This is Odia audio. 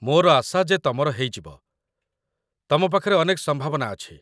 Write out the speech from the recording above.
ମୋର ଆଶା ଯେ ତମର ହେଇଯିବ, ତମ ପାଖରେ ଅନେକ ସମ୍ଭାବନା ଅଛି ।